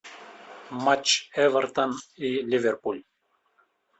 матч эвертон и ливерпуль